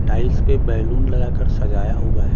Tiles पे balloon लगा कर सजाया हुआ है।